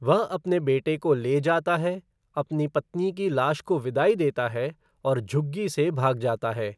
वह अपने बेटे को ले जाता है, अपनी पत्नी की लाश को विदाई देता है, और झुग्गी से भाग जाता है।